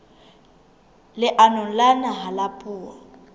leanong la naha la puo